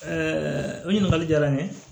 o ɲininkali jara n ye